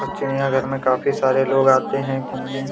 चिड़ियाघर में काफी सारे लोग आते है घूमने--